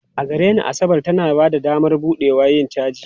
A gare ni, Asabar tana ba da damar buɗewa da yin caji.